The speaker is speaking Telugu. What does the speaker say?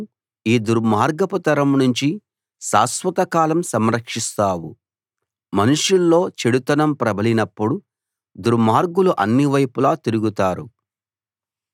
నువ్వు యెహోవావు నువ్వు వాళ్ళను కాపాడతావు భక్తిగల వాళ్ళను ఈ దుర్మార్గపు తరం నుంచి శాశ్వతకాలం సంరక్షిస్తావు